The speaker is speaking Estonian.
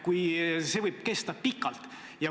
See võib kesta pikalt.